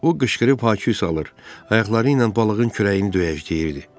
O qışqırıb hay küy salır, ayaqları ilə balığın kürəyini döyəcək deyirdi.